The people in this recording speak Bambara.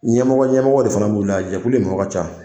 Ɲɛmɔgɔ ɲɛmɔgɔ de fana b'u la jɛkulu ni mɔgɔ ca